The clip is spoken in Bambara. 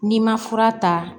N'i ma fura ta